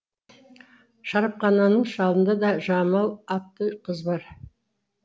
шарапхананың шалында да жамал атты қыз бар